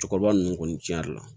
Cɛkɔrɔba ninnu kɔni tiɲɛra